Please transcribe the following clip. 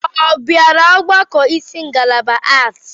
Ọ bịara ọgbakọ isi ngalaba Aarts.